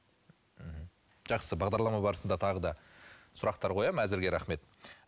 мхм жақсы бағдарлама барысында тағы да сұрақтар қоямын әзірге рахмет